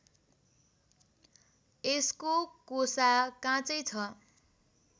यसको कोसा काँचै छ